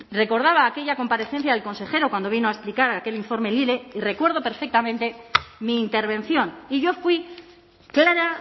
recordaba aquella comparecencia del consejero cuando vino a explicar aquel informe lile y recuerdo perfectamente mi intervención y yo fui clara